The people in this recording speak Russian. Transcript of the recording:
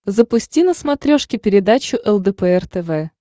запусти на смотрешке передачу лдпр тв